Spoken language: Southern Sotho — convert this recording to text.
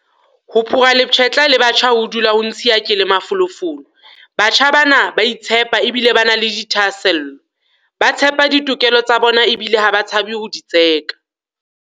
Ho phura lepshetla le batjha ho dula ho ntshiya ke le mafolofolo. Batjha bana ba a itshepa ebile ba na le dithahasello. Ba tseba ditokelo tsa bona ebile ha ba tshabe ho di tseka.